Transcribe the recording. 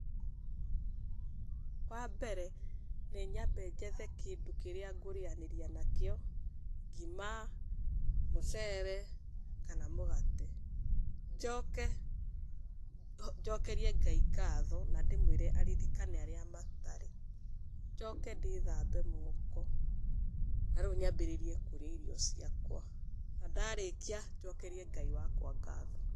Wambere nĩ nyambe njethe kĩndũ kĩrĩa ngũrĩanĩria nakĩo ngima, mũcere kana mũgate. Njoke njokerie Ngai ngatho na ndĩmwĩre aririkane arĩa matarĩ, njoke ndĩthambe moko na rĩu nyambĩrĩrie kũrĩa irio ciakwa na ndarĩkia njokerie Ngai wakwa ngatho.